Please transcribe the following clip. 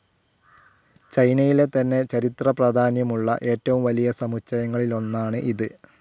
ചൈനയിലെ തന്നെ ചരിത്രപ്രാധാന്യമുള്ള ഏറ്റവും വലിയ സമുച്ചയങ്ങളിൽ ഒന്നാണ് ഇത്.